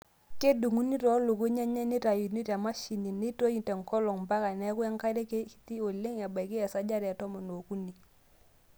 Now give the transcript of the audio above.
Kedung'uni too lukuny enye nitayuni te mashini neitoi tenkolong' mpaka neeku enkare kiti oleng ebaiki esajata e tomon ookuni.